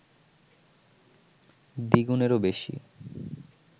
দ্বিগুণেরও বেশি